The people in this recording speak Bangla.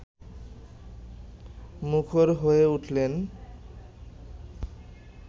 মুখর হয়ে উঠলেন